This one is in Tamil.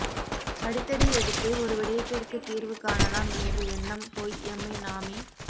அடிதடி எடுத்தே ஒரு விடயத்திற்கு தீர்வு காணலாம் என்ற எண்ணம் போய் எம்மை நாமே